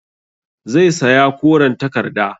Zai saya koren takarda